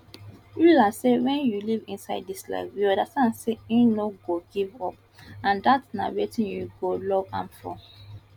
yulia say wen you live inside dis life you understand say e no go give up and dat na wetin you go love am for